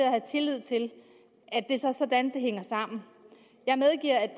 at have tillid til at det så er sådan det hænger sammen jeg medgiver at